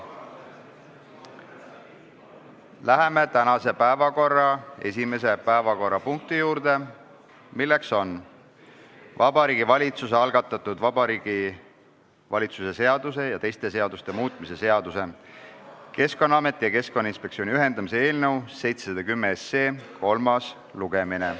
Läheme tänase esimese päevakorrapunkti juurde, milleks on Vabariigi Valitsuse algatatud Vabariigi Valitsuse seaduse ja teiste seaduste muutmise seaduse eelnõu 710 kolmas lugemine.